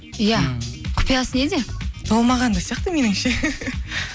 иә құпиясы неде толмаған да сияқты меніңше